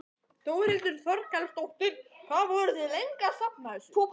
Þórhildur Þorkelsdóttir: Hvað voruð þið lengi að safna þessu?